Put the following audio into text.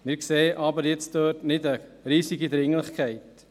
Wir sehen dort aber keine riesige Dringlichkeit.